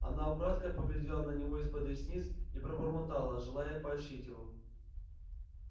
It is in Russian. она украдкой поглядела на него из-под ресниц и пробормотала желая поощрить его